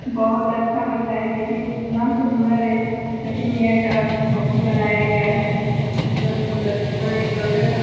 बहुत अच्छा लगता है देखिए कितना सुन्दर है जटी मैया का मम अथी बनाया गया है कितना सुन्दर वहाँ एक लड़का खड़ा --